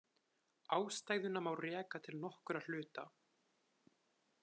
Ástæðuna má reka til nokkurra hluta.